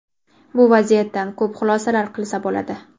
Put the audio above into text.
Bu vaziyatdan ko‘p xulosalar qilsa bo‘ladi.